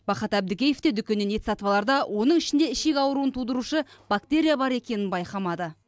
бақат әбдікеев те дүкеннен ет сатып аларда оның ішінде ішек ауруын тудырушы бактерия бар екенін байқамады